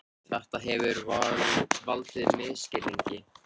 Björn Þorláksson: Þetta hefur valdið misskilningi?